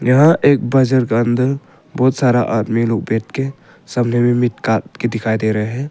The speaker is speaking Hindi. यह एक बाजार के अंदर बहुत सारा आदमी लोग बैठ के सामने में मीट काटते दिखाई दे रहे हैं।